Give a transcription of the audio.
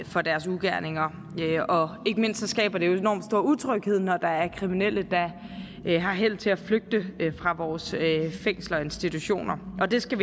for deres ugerninger og ikke mindst skaber det enormt stor utryghed når der er kriminelle der har held til at flygte fra vores fængsler og institutioner og det skal